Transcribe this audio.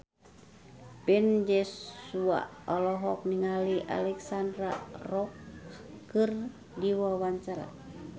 Ben Joshua olohok ningali Alexandra Roach keur diwawancara